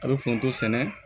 A bɛ foronto sɛnɛ